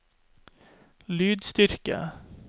lydstyrke